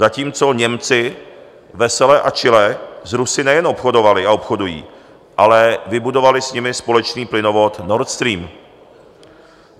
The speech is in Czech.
Zatímco Němci vesele a čile s Rusy nejen obchodovali a obchodují, ale vybudovali s nimi společný plynovod Nord Stream.